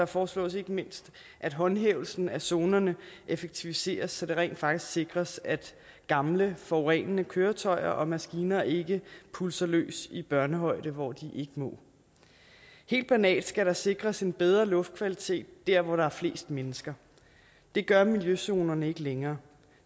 foreslås ikke mindst at håndhævelsen af zonerne effektiviseres så det rent faktisk sikres at gamle forurenende køretøjer og maskiner ikke pulser løs i børnehøjde hvor de ikke må det helt banalt skal der sikres en bedre luftkvalitet dér hvor der er flest mennesker det gør miljøzonerne ikke længere